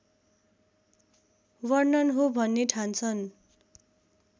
वर्णन हो भन्ने ठान्छन्